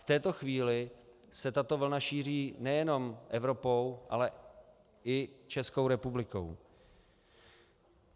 V této chvíli se tato vlna šíří nejenom Evropou, ale i Českou republikou.